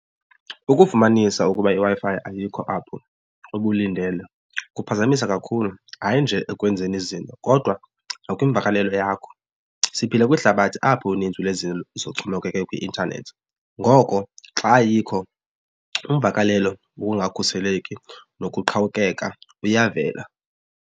Ukufumanisa ukuba iWi-Fi ayikho apho ubulindele kuphazamisa kakhulu, hayi nje ekwenzeni izinto kodwa nakwimvakalelo yakho. Siphila kwihlabathi apho uninzi lwezinto zixhomekeke kwi-intanethi ngoko xa ayikho imvakalelo wokungakhuseleki nokuqhawukeka kuyavela.